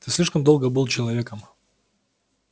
ты слишком долго был человеком